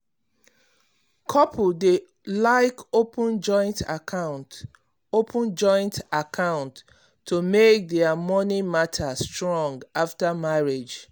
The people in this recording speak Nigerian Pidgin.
couples dey like open joint account open joint account to make their money matter strong after marriage